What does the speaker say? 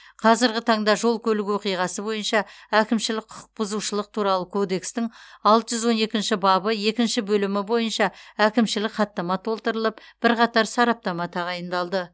қазіргі таңда жол көлік оқиғасы бойынша әкімшілік құқық бұзушылық туралы кодекстің алты жүз он екінші бабы екінші бөлімі бойынша әкімшілік хаттама толтырылып бірқатар сараптама тағайындалды